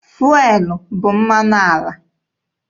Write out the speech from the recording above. Fụelụ bụ mmanụ ala.